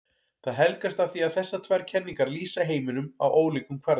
Það helgast af því að þessar tvær kenningar lýsa heiminum á ólíkum kvarða.